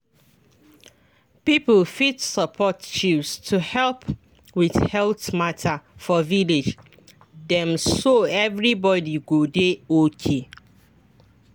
people fit support chws to help with health matter for village dem so everybody go dey okay.